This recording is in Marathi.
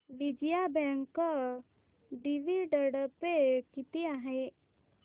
विजया बँक डिविडंड पे किती आहे